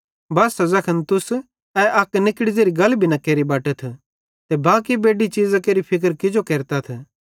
बस्सा ज़ैखन तुस ए अक निकड़ी ज़ेरी गल भी न केरि बटथ त बाकी बेड्डी चीज़ां केरि फिक्र किजो केरतथ